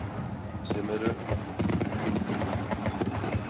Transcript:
Sem eru?